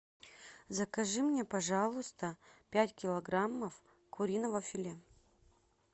закажи мне пожалуйста пять килограммов куриного филе